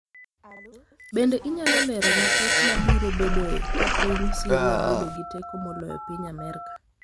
Bende inyalo lerona pek mabiro bedoe ka piny Syria bedo gi teko moloyo piny Amerka